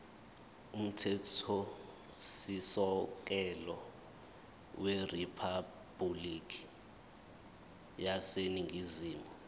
umthethosisekelo weriphabhulikhi yaseningizimu